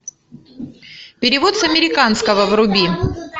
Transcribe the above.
перевод с американского вруби